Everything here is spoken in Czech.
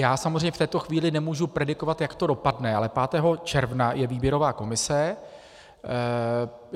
Já samozřejmě v této chvíli nemohu predikovat, jak to dopadne, ale 5. června je výběrová komise.